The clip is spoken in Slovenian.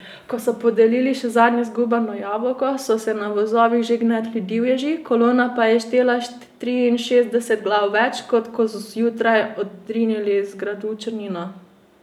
Ko so podelili še zadnje zgubano jabolko, so se na vozovih že gnetli divježi, kolona pa je štela triinšestdeset glav več, kot ko so zjutraj odrinili z gradu Črnina.